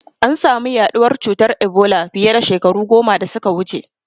An samu yaɗuwar cutar Ebola fiye da shekaru goma da suka wuce.